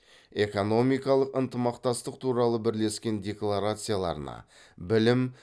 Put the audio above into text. экономикалық ынтымақтастық туралы бірлескен декларацияларына білім